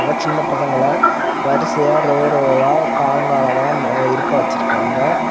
அங்க சின்ன பசங்களா வரிசையா ரோ ரோவா காலம் காலமா இருக்க வச்சிருக்காங்க.